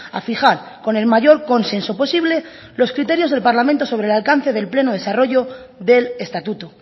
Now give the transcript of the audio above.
a fijar con el mayor consenso posible los criterios del parlamento sobre el alcance del pleno desarrollo del estatuto